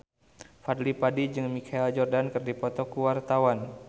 Fadly Padi jeung Michael Jordan keur dipoto ku wartawan